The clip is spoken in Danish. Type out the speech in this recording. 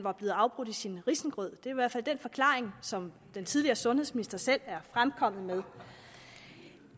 var blevet afbrudt i sin risengrød det er i hvert fald den forklaring som den tidligere sundhedsminister selv er fremkommet med at